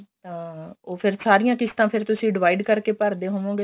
ਅਹ ਫੇਰ ਉਹ ਸਾਰੀਆਂ ਕਿਸ਼ਤਾ ਫੇਰ ਤੁਸੀਂ divide ਕਰਕੇ ਭਰਦੇ ਹੋਵੋਗੇ